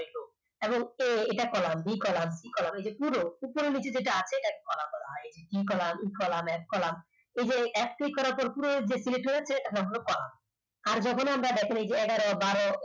এখন এটা a column b column column পুরো এ পুরো নিচে যেটা আছে এটাকে column বলা হয়। a column b column f columnentry করার পর পুরোটা যে আছে সেটার নাম হলো আর যখন আমরা দেখেন এই যে এগারো-বারো